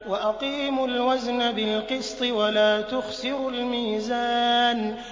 وَأَقِيمُوا الْوَزْنَ بِالْقِسْطِ وَلَا تُخْسِرُوا الْمِيزَانَ